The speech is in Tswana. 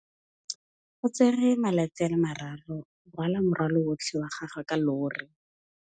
O tsere malatsi a le marraro go rwala morwalo otlhe wa gagwe ka llori.